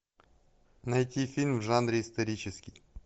найти фильм в жанре исторический